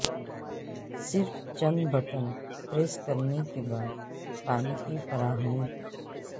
صرف چند button press کرنے کے بعد پانی کی فراہمی